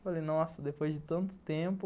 Falei, nossa, depois de tanto tempo.